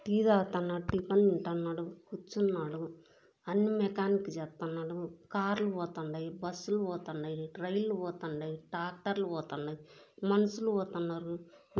Tea తాగుతున్నటీ tiffin తింటున్నాడు. కూర్చున్నాడు. అన్ని మెకానిక్ జేత్తున్నాడు. కార్ లు పోతుండయ్. బస్సు లు పోతుండయ్. ట్రైన్ లు పోతుండయ్. టాట్టర్లు పోతుండయ్. మనసులు పోతున్నారు.